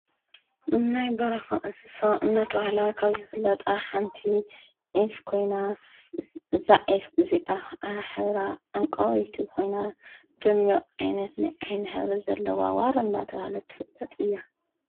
ናይ በረካ እንስሳ እንዳተባሃላ ካብ ዝፍለጣ ሓንቲ ዒፍ ኮይና እዛ ዒፍ ኢዚኣ ከዓ ሕብራ ዕንቋወይቲ ደሚቅ ዓይነት ናይ ዓይኒ ሕብሪ ዘለዋ ዋሪ እንዳተባሃለት ትፍለጥ እያ።